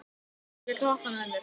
Maggý, viltu hoppa með mér?